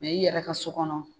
Mɛ i yɛrɛ ka so kɔnɔ